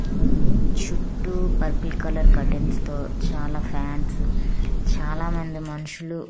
ఉంది చుట్టూ purple colour curtains తో చాలా ఫాన్స్ చాలా మంది మనుషులు.